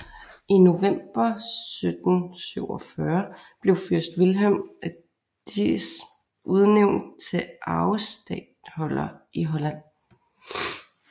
I november 1747 blev fyrst Vilhelm af Diez udnævnt til arvestatholder i Holland